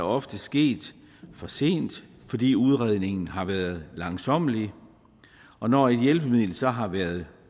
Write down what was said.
ofte sket for sent fordi udredningen har været langsommelig og når et hjælpemiddel så har været